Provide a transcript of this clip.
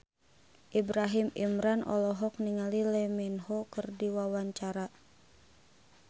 Ibrahim Imran olohok ningali Lee Min Ho keur diwawancara